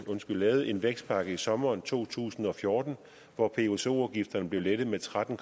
lavet en vækstpakke i sommeren to tusind og fjorten hvor pso afgifterne blev lettet med tretten